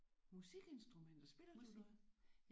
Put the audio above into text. Musikinstrumenter. Spiller du noget?